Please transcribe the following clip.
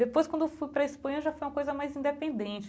Depois, quando fui para a Espanha, já foi uma coisa mais independente.